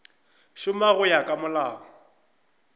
šoma go ya ka molao